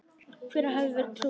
Hver hefði trúað þessu!